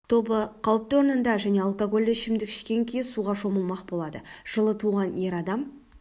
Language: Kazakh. тобы қауіпті орнында және алкогольді ішімдік ішкен күйі суға шомылмақ болады жылы туған ер адам